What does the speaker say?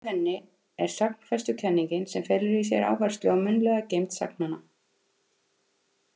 Andstæð henni er sagnfestukenningin sem felur í sér áherslu á munnlega geymd sagnanna.